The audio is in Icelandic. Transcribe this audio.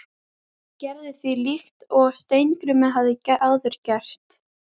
Ég gerði því líkt og Steingrímur hafði áður gert.